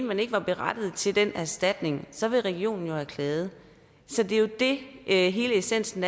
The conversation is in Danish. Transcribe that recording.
man ikke var berettiget til den erstatning så ville regionen jo have klaget det er jo det er hele essensen